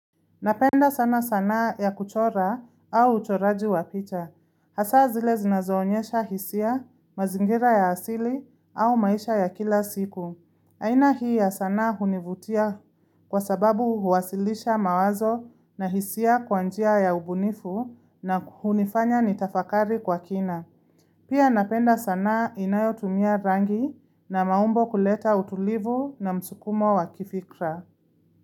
Napenda sana sanaa ya kuchora au uchoraji wa picha. Hasaa zile zinazoonyesha hisia, mazingira ya asili au maisha ya kila siku. Aina hii ya sanaa hunivutia kwa sababu huwasilisha mawazo na hisia kwa njia ya ubunifu na hunifanya nitafakari kwa kina. Pia napenda sanaa inayotumia rangi na maumbo kuleta utulivu na msukumo wa kifikra.